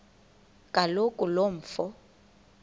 kaloku lo mfo